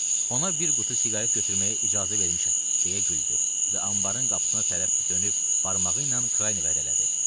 "Ona bir qutu siqaret götürməyə icazə vermişəm" deyə güldü və anbarın qapısına tərəf dönüb barmağı ilə Kraynevə ədə elədi: